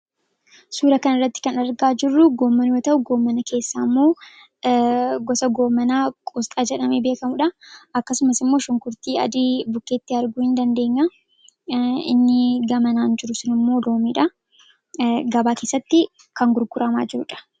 suura kan irratti kan argaa jirruu gooman wota'u goomana keessaa immoo gosa goomanaa quusxaa jedhame beekamuudha akkasumas immoo shunkurtii adii bukkeetti arguu hin dandeenya inni gamanaan jiru sun immoo loomiidha gabaa keessatti kan gurguramaa jiruudha